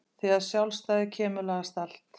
Þegar sjálfstæðið kemur lagast allt.